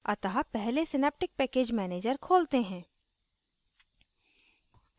अतः पहले synaptic package manager खोलते हैं